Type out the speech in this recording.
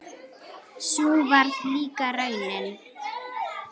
Sú varð líka raunin.